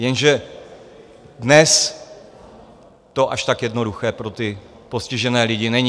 Jenže dnes to až tak jednoduché pro ty postižené lidi není.